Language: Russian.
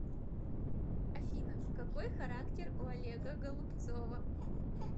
афина какой характер у олега голубцова